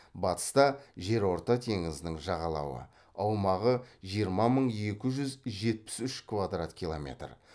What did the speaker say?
батыста жерорта теңізінің жағалауы аумағы жиырма мың екі жүз жетпіс үш квадрат километр